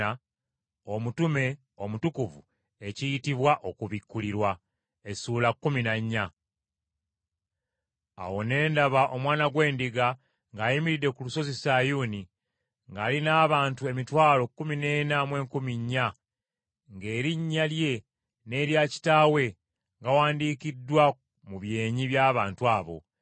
Awo ne ndaba Omwana gw’Endiga ng’ayimiridde ku lusozi Sayuuni, ng’ali n’abantu emitwalo kkumi n’ena mu enkumi nnya (144,000), ng’erinnya lye n’erya Kitaawe gawandiikiddwa mu byenyi by’abantu abo.